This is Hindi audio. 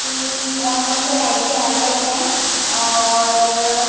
की कौन-कौन से टाइप के हेयर कट है ओर--